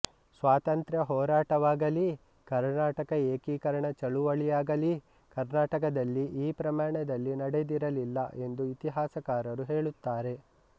ಸ್ವಾತಂತ್ರ್ಯ ಹೋರಾಟವಾಗಲೀ ಕರ್ನಾಟಕ ಏಕೀಕರಣ ಚಳವಳಿಯಾಗಲೀ ಕರ್ನಾಟಕದಲ್ಲಿ ಈ ಪ್ರಮಾಣದಲ್ಲಿ ನಡೆದಿರಲಿಲ್ಲ ಎಂದು ಇತಿಹಾಸಕಾರರು ಹೇಳುತ್ತಾರೆ